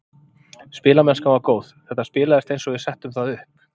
Spilamennskan var góð, þetta spilaðist eins og við settum það upp.